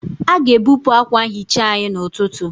A ga-ebupụ akwa nhicha anyị n'ụtụtụ.